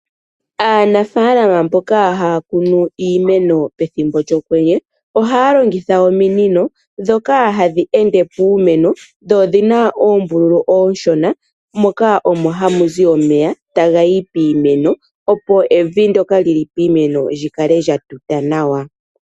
Anafaalama mboka haya kunu iimeno pethimbo lyokwenye, oha yalongitha ominino ndhoka hadhi ende puumeno dho odhina oombululu oonshona moka omo hamu zi omeya taga yi piimeno opo evi ndoka lyi li piimeno lyikale lya tuta nawa